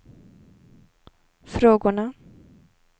frågorna